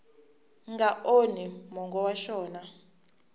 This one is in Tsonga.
nga onhi mongo wa xona